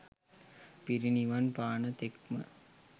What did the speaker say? පිරිනිවන් පාන තෙක්ම